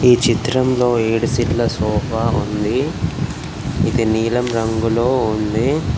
ఈ చిత్రంలో ఏడు సీటుల సోఫా ఉంది అది నీలం రంగులో ఉంది.